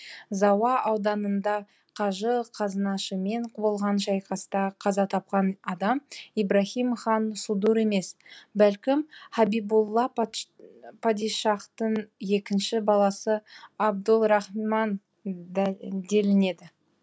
зауа ауданында қажы қазынашымен болған шайқаста қаза тапқан адам ибраһим хан судур емес бәлкім һәбибулла падишахтың екінші баласы абдулрахман делінеді